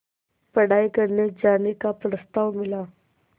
पढ़ाई करने जाने का प्रस्ताव मिला